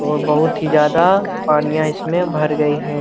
और बहुत ही ज्यादा पनियाँ इसमें भर गई है।